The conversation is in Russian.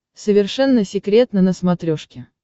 совершенно секретно на смотрешке